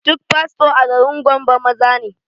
Duk fasto a garin gombe maza ne